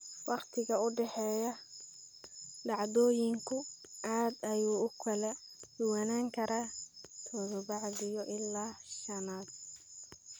Waqtiga u dhexeeya dhacdooyinku aad ayuu u kala duwanaan karaa toddobaadyo ilaa sannado.